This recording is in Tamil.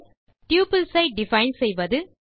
டப்பிள்ஸ் ஐ டிஃபைன் செய்வது